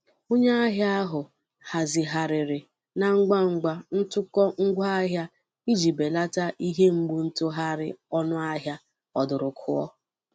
Onye ahịa ahụ hazigharịrị na ngwangwa ntụkọ ngwaahịa iji belata ihe mgbu ntụgharị ọnụ ahịa ọdụrụkụọ.